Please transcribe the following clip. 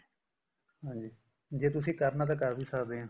ਹਾਂਜੀ ਜੇ ਤੁਸੀਂ ਕਰਨਾ ਤਾਂ ਕਰ ਵੀ ਸਕਦੇ ਆ